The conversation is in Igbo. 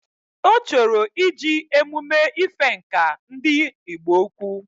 Ochoro ije emume ife Ǹkà ndi igbo-ukwu